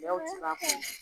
Yaho